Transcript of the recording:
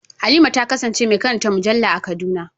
Halima ta kasance mai karanta mujalla a Kaduna.